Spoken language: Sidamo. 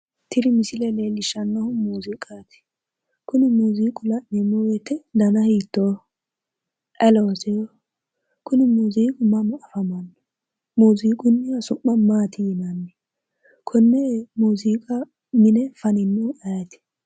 Tini misile leellishshannohu muuziiqaati. Kuni muuziiqu la'neemmo woyite dana hiittooho? ayi looseho? kuni muuziiqu mama afamanno? Muuziqunniha su'ma maati yinanni? Konne muuziiqa mine faninohu ayeeti?